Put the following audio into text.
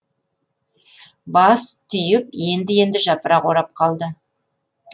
бас түйіп енді енді жапырақ орап қалды